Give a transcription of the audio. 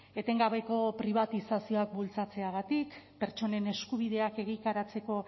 etengabeko pribatizazioak bultzatzeagatik pertsonen eskubideak egikaritzeko